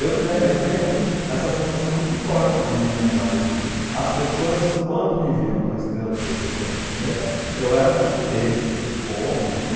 Eu me le eu tenho essa sensação muito forte na minha memória de que as pessoas, quando me viam com a estrela do pê tê, com a camiseta, eu era um ê tê, assim, de como, né?